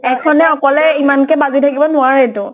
এখনে অকলে ইমানে কে বাজি থাকিব নোৱাৰে টো।